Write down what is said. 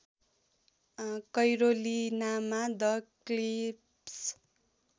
कैरोलिनामा the cliffs